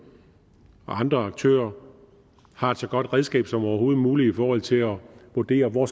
og andre aktører har et så godt redskab som overhovedet muligt i forhold til at vurdere hvor